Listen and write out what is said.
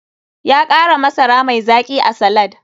Ya kara masara mai zaki a salad.